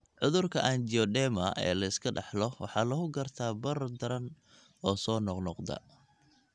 Cudurka anjioedema ee la iska dhaxlo waxaa lagu gartaa barar daran oo soo noqnoqda (angioedema).